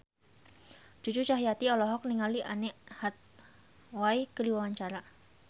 Cucu Cahyati olohok ningali Anne Hathaway keur diwawancara